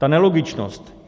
Ta nelogičnost.